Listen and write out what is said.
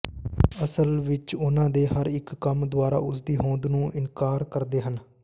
ਅਸਲ ਵਿੱਚ ਉਹਨਾਂ ਦੇ ਹਰ ਇੱਕ ਕੰਮ ਦੁਆਰਾ ਉਸਦੀ ਹੋਂਦ ਨੂੰ ਇਨਕਾਰ ਕਰਦੇ ਹਨ